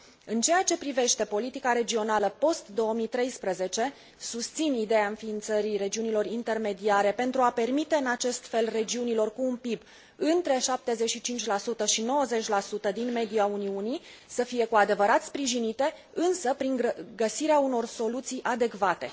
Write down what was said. În ceea ce privește politica regională post 2013, susțin ideea înființării regiunilor intermediare pentru a permite în acest fel regiunilor cu un PIB între 75 și 90 din media Uniunii să fie cu adevărat sprijinite, însă prin găsirea unor soluții adecvate.